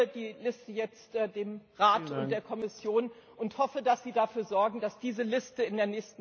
Ich gebe die Liste jetzt dem Rat und der Kommission und hoffe, dass Sie dafür sorgen, dass diese Liste